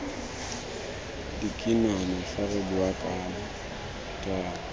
dikinane fa re bua jaana